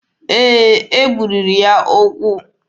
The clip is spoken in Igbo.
Ee, e gbubiri ya ụkwụ.